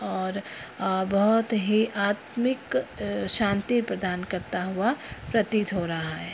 और अ बहुत ही आत्मिक अ शांति प्रदान करता हुआ प्रतीत हो रहा है।